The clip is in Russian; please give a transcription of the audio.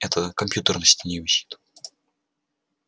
это компьютер на стене висит